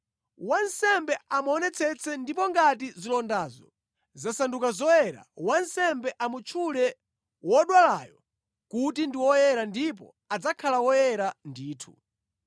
Wansembe amuonetsetse ndipo ngati zilondazo zasanduka zoyera, wansembe amutchule wodwalayo kuti ndi woyera ndipo adzakhala woyera ndithu.